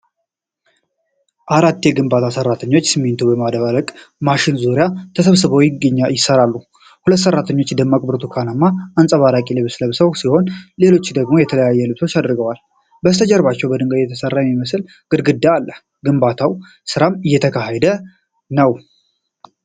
አራት የግንባታ ሰራተኞች በሲሚንቶ ማደባለቂያ ማሽን ዙሪያ ተሰባስበው ይሰራሉ። ሁለት ሰራተኞች ደማቅ ብርቱካናማ አንጸባራቂ ልብስ ለብሰው ሲሆን፣ ሌሎች ደግሞ የተለያየ ልብስ አድርገዋል። በስተጀርባ በድንጋይ የተሰራ የሚመስል ግድግዳ አለ፣ የግንባታው ስራም እየተካሄደ ነው።